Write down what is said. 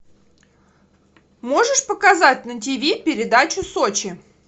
можешь показать на ти ви передачу сочи